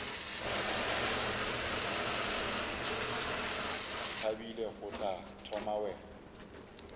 ntlabile go tla thoma wena